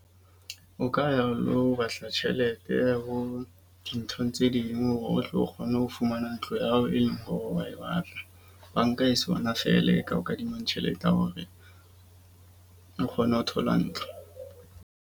O ka ya o lo batla tjhelete ho dinthong tse ding hore o tlo kgone ho fumana ntlo ya hao, e leng hore wa e batla. Banka e sona feela e ka o kadimang tjhelete ya hore, o kgone ho thola ntlo.